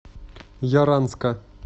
яранска